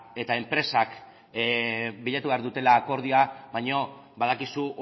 eta enpresak bilatu behar dutela akordioa baina badakizu